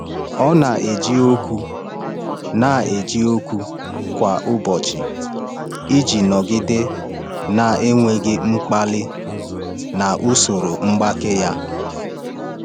Ọ na-eji okwu na-eji okwu nkwado kwa ụbọchị iji nọgide na-enwe mkpali na usoro mgbake ya.